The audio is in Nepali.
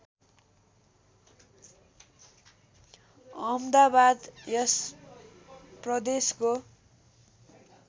अहमदाबाद यस प्रदेशको